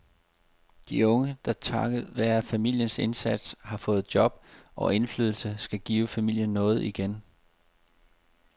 De unge, der takket være familiens indsats har fået job og indflydelse, skal give familien noget igen.